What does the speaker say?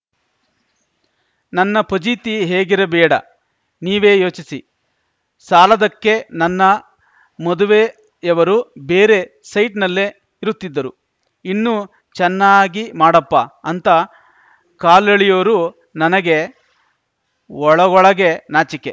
ನನ್ನ ಫಜೀತಿ ಹೇಗಿರಬೇಡ ನೀವೇ ಯೋಚಿಸಿ ಸಾಲದಕ್ಕೆ ನನ್ನ ಮದುವೆಯವರು ಬೇರೆ ಸೈಟ್‌ನಲ್ಲೇ ಇರುತ್ತಿದ್ದರು ಇನ್ನೂ ಚೆನ್ನಾಗಿ ಮಾಡಪ್ಪ ಅಂತ ಕಾಲೆಳೆಯೋರು ನನಗೇ ಒಳಗೊಳಗೆ ನಾಚಿಕೆ